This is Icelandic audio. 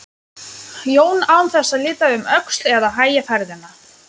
Jón án þess að líta um öxl eða hægja ferðina.